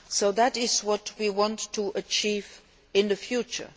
That is what we want to achieve in the future.